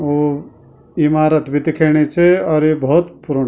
और इमारत बि दिखेणि च और यु भौत पुराणु --